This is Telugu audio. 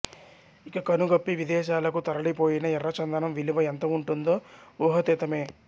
ఇక కను గప్పి విదేశాలకు తరలి పోయిన ఎర్ర చందనం విలువ ఎంత వుంటుందో ఊహాతీతమే